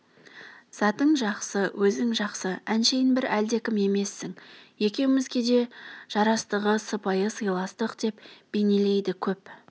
затың жақсы өзің жақсы әншейін бір әлдекім емессің екеумізге де жарастығы сыпайы сыйластық деп бейнелейді көп